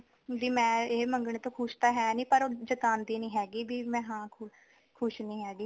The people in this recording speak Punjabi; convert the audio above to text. ਵੀ ਮੈਂ ਏ ਮੰਗਨੇ ਤੋਂ ਖੁਸ਼ ਤਾਂ ਹੈਨੀ ਪਰ ਉਹ ਜਤਾਦੀ ਨੀ ਹੈਗੀ ਵੀ ਹਾਂ ਮੈਂ ਖ਼ੁਸ਼ ਨੀ ਹੈਗੀ